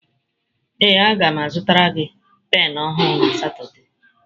Ee a ga m azụtara gị penụ ọhụrụ na Satọde.